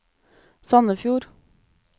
Sandefjord